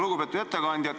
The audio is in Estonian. Lugupeetud ettekandja!